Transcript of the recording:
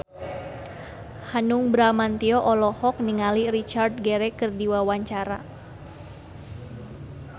Hanung Bramantyo olohok ningali Richard Gere keur diwawancara